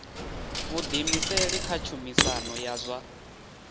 vhuḓiimiseli kha tshumisano ya zwa